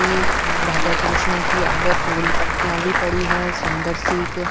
राधा कृष्णा की आग फूल पत्या भी पड़ी है सुन्दर सी क--